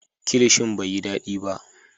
Kilishin bai yi dadi ba